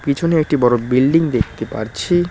পিছনে একটি বড় বিল্ডিং দেখতে পারছি।